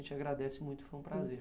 A gente agradece muito, foi um prazer.